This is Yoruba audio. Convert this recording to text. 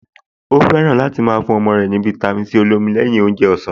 Ó fẹ́ràn láti máa fún ọmọ rẹ̀ ní fáítámì Sí olómi lẹ́yìn oúnjẹ ọ̀sán